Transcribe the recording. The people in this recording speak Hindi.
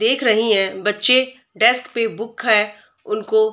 देख रही हैं बच्चे डेस्क पे बुक है उनको --